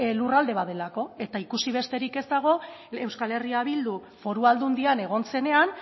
lurralde bat delako eta ikusi besterik ez dago euskal herria bildu foru aldundian egon zenean